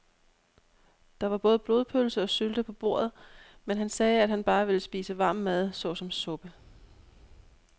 Der var både blodpølse og sylte på bordet, men han sagde, at han bare ville spise varm mad såsom suppe.